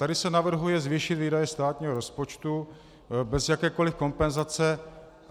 Tady se navrhuje zvýšit výdaje státního rozpočtu bez jakékoli kompenzace.